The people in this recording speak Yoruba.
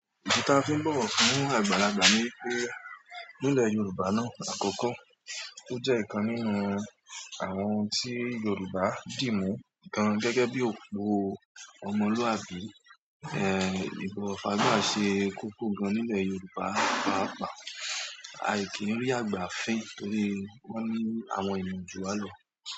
Ìdí ta fi ń bọ̀ wọ́n fún àgbàlagbà ni wípé nílẹ̀ Yorùbá náà àkọ́kọ́, ó jẹ́ ìkan nínú àwọn ohun tí Yorùbá dì mú, gan gẹ́gẹ́ bí òpó ọmọlúàbí. Ìbọ̀wọ̀ fágbà ṣe kókó gan nílẹ̀ Yorùbá, pàápàá aì kì n rí àgbà fín torí wọ́n ní àwọn ènìyàn jù wá ló.